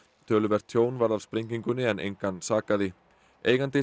töluvert tjón varð af sprengingunni en engan sakaði eigandi